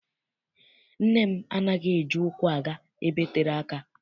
Nne m anaghị eji ụkwụ aga ebe tere aka.